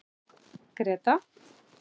Greta